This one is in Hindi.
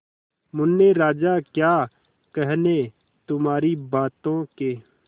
मुन्ने राजा क्या कहने तुम्हारी बातों के